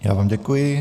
Já vám děkuji.